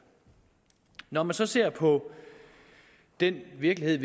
når vi så ser på den virkelighed